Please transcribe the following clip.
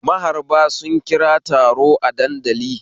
Maharba sun kira taro a dandali